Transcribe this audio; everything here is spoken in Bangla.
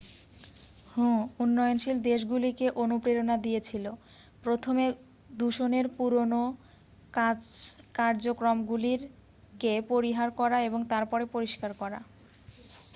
"হু উন্নয়নশীল দেশগুলিকে অনুপ্রেরণা দিয়েছিল "প্রথমে দূষণের পুরোনো কার্জক্রমগুলিকে পরিহার করা এবং তারপরে পরিষ্কার করা।""